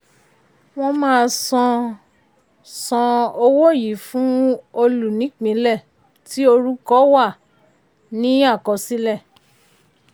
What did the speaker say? wọ́n máa san san owó yìí fún olùnípìnlẹ̀ tí orúkọ wà ní àkọsílẹ̀.